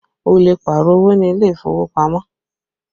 Ó lè Pààrọ̀ owó ní ilé ìfowópamọ́